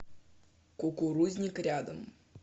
кукурузник рядом